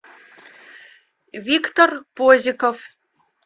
виктор позяков